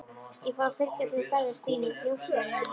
Ég fór að fylgjast með ferðum Stínu, njósna um hana.